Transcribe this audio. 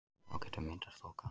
Þá getur myndast þoka.